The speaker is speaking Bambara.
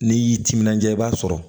N'i y'i timinanja i b'a sɔrɔ